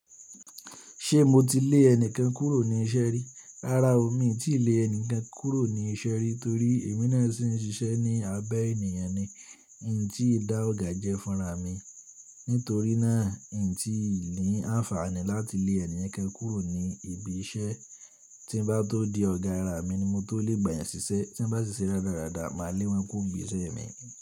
Ṣé mo ti lé ẹni kan kúrò ní iṣẹ́ rí? Rárá o, mi ò tíì lé ẹni kan kúrò ní iṣẹ́ rí torí èmi náà sì ń ṣiṣẹ́ ní abẹ́ ènìyàn ni. N tí dá ọ̀gá jẹ́ fúnra mi. Nítorí náà, n ì tí ì lè ní àǹfààní láti lé ènìyàn kan kúrò ní ibi iṣẹ́. Tí bá tó di ọ̀gá ara mi ni mo tó lè gbà yẹn ṣiṣẹ́. Tí ń bá ṣiṣẹ́ rárádá, máa lé wọn kúrò níbi iṣẹ́ mi.